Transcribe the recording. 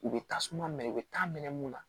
U bɛ tasuma minɛ u bɛ taa minɛ mun na